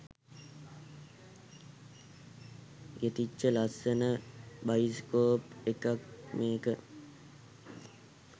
ගෙතිච්ච ලස්සන බයිස්කෝප් එකක් මේක